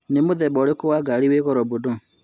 Nĩ muthemba urikũ Wa ngari wi Goro mũno?